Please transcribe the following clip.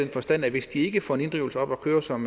forstand at hvis de ikke får en inddrivelse op at køre som